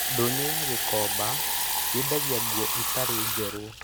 Ndonyo ya Gikomba yendagia nguo itarĩ njerũ.